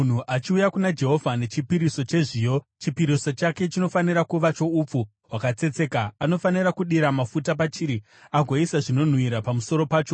“ ‘Kana munhu achiuya kuna Jehovha nechipiriso chezviyo, chipiriso chake chinofanira kuva choupfu hwakatsetseka. Anofanira kudira mafuta pachiri agoisa zvinonhuhwira pamusoro pacho,